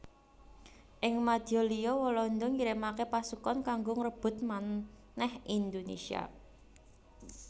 Ing madya liya Walanda ngirimaké pasukan kanggo ngrebut manèh Indonésia